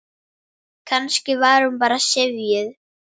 Kannski var hún bara syfjuð.